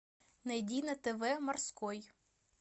найди на тв морской